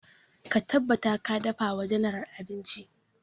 Ka tabbata ka dafa wa general abinci!